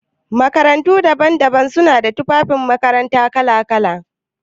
Makarantu daban-daban suna ta tufafin makaranta kala-kala.